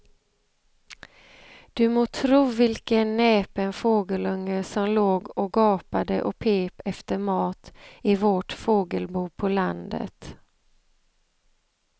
Du må tro vilken näpen fågelunge som låg och gapade och pep efter mat i vårt fågelbo på landet.